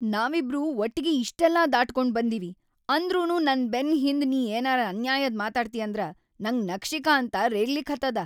ನಾವಿಬ್ರೂ ಒಟ್ಟಿಗಿ ಇಷ್ಟೆಲ್ಲಾ ದಾಟಗೊಂಡ್‌ ಬಂದಿವಿ ಅಂದ್ರನೂ ನನ್‌ ಬೆನ್‌ ಹಿಂದ್‌ ನೀ ಏನರೇ ಅನ್ಯಾಯದ್‌ ಮಾತಾಡ್ತಿ ಅಂದ್ರ ನಂಗ್ ನಖಶಿಖಾಂತ ರೇಗ್ಲಿಕತ್ತದ.